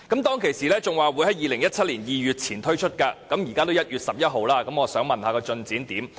當時他亦說會在2017年2月前推出，現在已是1月11日，我想問進展如何？